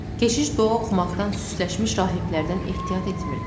Keşiş dua oxumaqdan süsləşmiş rahiblərdən ehtiyat etmirdi.